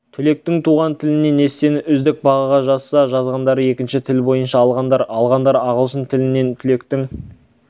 түлектің туған тілінен эссені үздік бағаға жазса жазғандар екінші тіл бойынша алғандар алғандар ағылшын тілінен түлектің